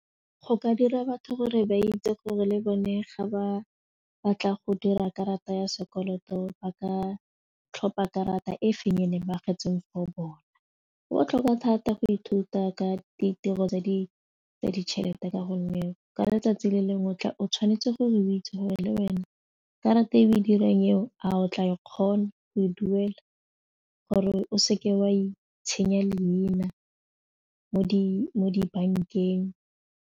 Go ka dira batho gore ba itse gore le bone ga ba batla go dira karata ya sekoloto ba ka tlhopha karata e feng ba agetsweng for bona go botlhokwa thata go ithuta ka ditiro tsa di tsa ditšhelete ka gonne ka letsatsi le lengwe o tla o tshwanetse gore o itse gore le wena karata e be dirang eo a o tla e kgona go e duela gore o seke wa itshenya leina mo di mo dibankeng.